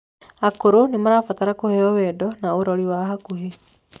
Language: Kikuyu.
akũrũ nĩmarabatara kuheo wendo na urori wa hakuhĩ